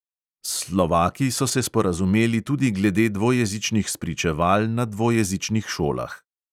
S slovaki so se sporazumeli tudi glede dvojezičnih spričeval na dvojezičnih šolah.